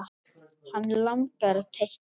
Hann langar að teikna.